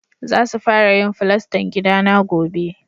Za su fara yin fulastan gidana gobe.